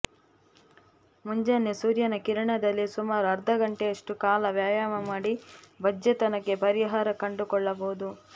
ಮುಂಜಾನೆ ಸೂರ್ಯನ ಕಿರಣದಲ್ಲಿ ಸುಮಾರು ಅರ್ಧ ಗಂಟೆಯಷ್ಟು ಕಾಲ ವ್ಯಾಯಾಮ ಮಾಡಿ ಬಂಜೆತನಕ್ಕೆ ಪರಿಹಾರ ಕಂಡುಕೊಳ್ಳಬಹುದು